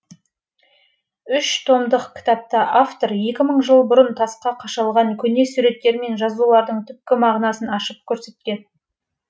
үш томдық кітапта автор екі мың жыл бұрын тасқа қашалған көне суреттер мен жазулардың түпкі мағынасын ашып көрсеткен